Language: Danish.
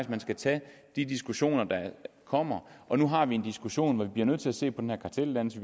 man skal tage de diskussioner der kommer og nu har vi en diskussion hvor vi bliver nødt til at se på den her karteldannelse